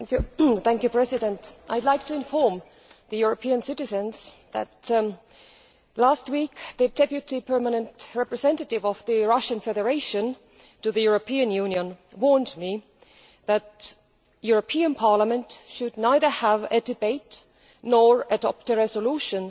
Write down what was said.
Mr President, I would like to inform European citizens that last week, the deputy permanent representative of the Russian Federation to the European Union warned me that the European Parliament should neither have a debate nor adopt a resolution